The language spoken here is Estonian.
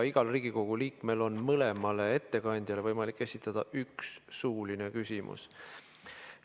Igal Riigikogu liikmel on mõlemale ettekandjale võimalik esitada üks suuline küsimus.